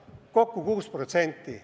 Kokku 6%.